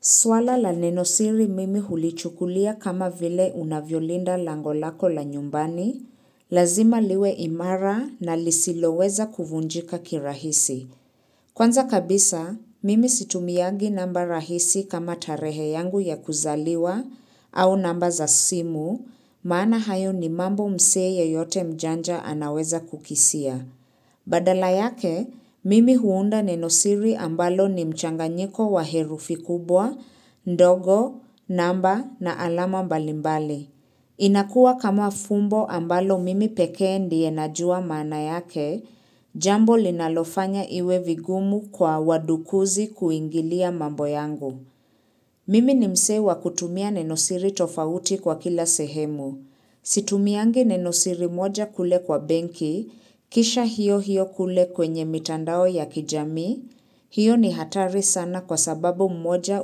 Swala la nenosiri mimi hulichukulia kama vile unavyolinda lango lako la nyumbani, lazima liwe imara na lisiloweza kuvunjika kirahisi. Kwanza kabisa, mimi situmiagi namba rahisi kama tarehe yangu ya kuzaliwa au namba za simu, maana hayo ni mambo msee yeyote mjanja anaweza kukisia. Badala yake, mimi huunda nenosiri ambalo ni mchanganyiko wa herufi kubwa, ndogo, namba na alama mbalimbali. Inakua kama fumbo ambalo mimi pekee ndiye najua maana yake, jambo linalofanya iwe vigumu kwa wadukuzi kuingilia mambo yangu. Mimi ni msee wa kutumia nenosiri tofauti kwa kila sehemu. Situmiangi nenosiri moja kule kwa benki, kisha hiyo hiyo kule kwenye mitandao ya kijami, hiyo ni hatari sana kwa sababu mmoja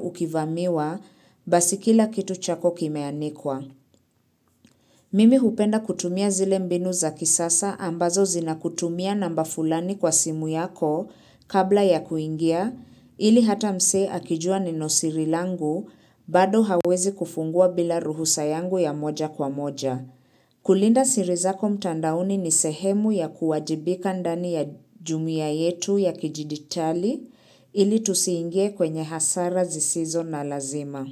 ukivamiwa basi kila kitu chako kimeanikwa. Mimi hupenda kutumia zile mbinu za kisasa ambazo zinakutumia namba fulani kwa simu yako kabla ya kuingia ili hata msee akijua nenosiri langu bado hawezi kufungua bila ruhusa yangu ya moja kwa moja. Kulinda siri zako mtandaoni ni sehemu ya kuwajibika ndani ya jumuia yetu ya kidijitali ili tusiingie kwenye hasara zisizo na lazima.